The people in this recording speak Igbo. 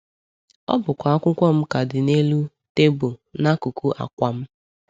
Ọ bụkwa akwụkwọ m ka dị n’elu tebụl n’akụkụ akwa m!